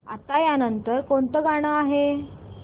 आता या नंतर कोणतं गाणं आहे